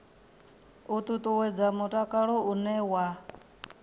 u ṱuṱuwedza mutakalo une wa